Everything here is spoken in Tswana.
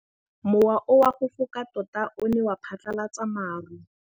Mowa o wa go foka tota o ne wa phatlalatsa maru.